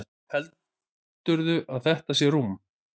Heldurðu að þetta sé rúm?